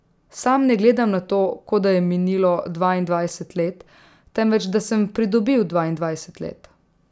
Sam ne gledam na to, kot da je minilo dvaindvajset let, temveč da sem pridobil dvaindvajset let.